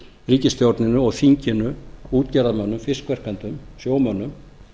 ríkisstjórninni og þinginu útgerðarmönnum fiskverkendum sjómönnum